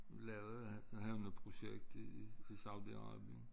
Lavede jeg havde noget projekt i i Saudi Arabien